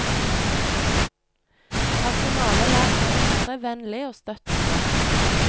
Personalet lærte å opptre vennlig og støttende.